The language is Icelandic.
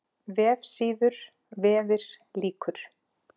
VEFSÍÐUR, VEFIR LÝKUR